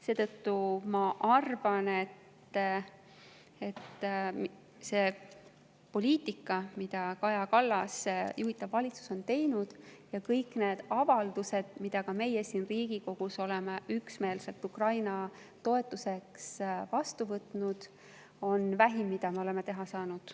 Seetõttu ma arvan, et see poliitika, mida Kaja Kallase juhitud valitsus tegi, ja kõik need avaldused, mida ka meie siin Riigikogus oleme üksmeelselt Ukraina toetuseks vastu võtnud, on vähim, mida me oleme teha saanud.